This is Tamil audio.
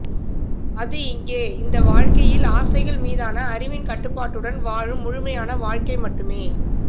அது இங்கே இந்த வாழ்க்கையில் ஆசைகள் மீதான அறிவின் கட்டுப்பாட்டுடன் வாழும் முழுமையான வாழ்க்கை மட்டுமே